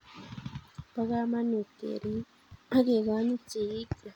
Po kamanut kerip ak kekonyit sigikyok